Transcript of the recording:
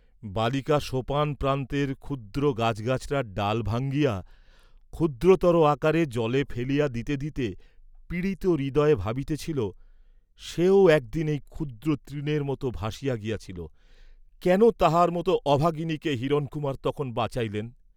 বালিকা সোপান প্রান্তের ক্ষুদ্র গাছগাছড়ার ডাল ভাঙিয়া ক্ষুদ্রতর আকারে জলে ফেলিয়া দিতে দিতে পীড়িত হৃদয়ে ভাবিতেছিল, সেও একদিন এই ক্ষুদ্র তৃণের মত ভাসিয়া গিয়াছিল, কেন তাহার মত অভাগিনীকে হিরণকুমার তখন বাঁচাইলেন!